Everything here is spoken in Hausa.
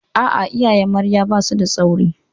A'a, iyayen Marya ba su da tsauri.